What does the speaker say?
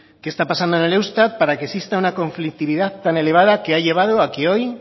qué está pasando en el eustat para que exista una conflictividad tan elevada que ha llevado a que hoy